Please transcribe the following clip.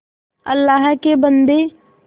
अल्लाह के बन्दे